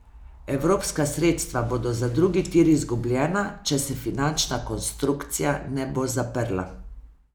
Evropska sredstva bodo za drugi tir izgubljena, če se finančna konstrukcija ne bo zaprla.